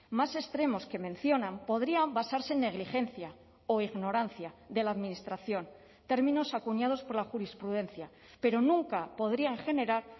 más extremos que mencionan podrían basarse en negligencia o ignorancia de la administración términos acuñados por la jurisprudencia pero nunca podrían generar